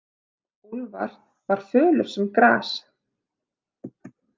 Úlfar var fölur sem gras.